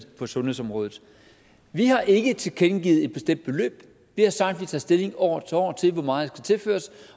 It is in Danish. på sundhedsområdet vi har ikke tilkendegivet et bestemt beløb vi har sagt at vi tager stilling år for år til hvor meget der skal tilføres